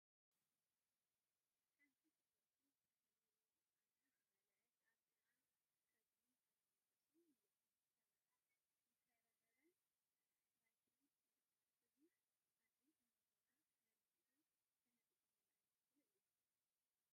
ሓንቲ ፅብቅቲ ፃሕሊ ዉቁጥ አድሪ ዝመልአት አብ ጥቃ ቀፅሊ ቀላሚጠስን ብላካ ዝተረበበ ባይታን ይርከብ፡፡ እዚ አድሪ ንመጎጎ መልምዒ እንጥቀመሉ ዓይነት ተክሊ እዩ፡፡